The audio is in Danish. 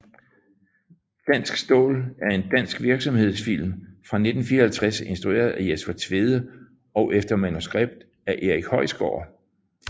Dansk staal er en dansk virksomhedsfilm fra 1954 instrueret af Jesper Tvede og efter manuskript af Erik Højsgård